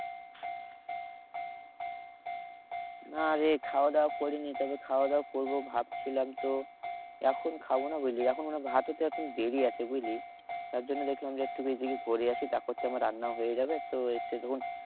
না রে খাওয়াদাওয়া করিনি। তবে খাওয়াদাওয়া করবো ভাবছিলাম তো, এখন খাবো না বুঝলি? এখন ভাত হতে অনেক দেরি আছে বুঝলি? তার জন্য দেখলাম যে একটু ঘুরে আসি তারপর তো আমার রান্নাও হয়ে যাবে। তো এসে তখন